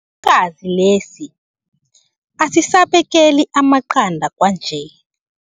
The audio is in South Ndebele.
Isikhukhukazi lesi asisabekeli amaqanda kwanje.